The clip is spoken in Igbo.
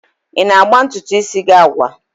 Ị na-agba ntutu isi gị agwa?